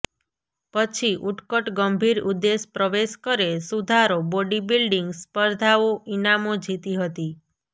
પછી ઉત્કટ ગંભીર ઉદ્દેશ પ્રવેશ કરે સુધારો બોડિબિલ્ડિંગ સ્પર્ધાઓ ઇનામો જીતી હતી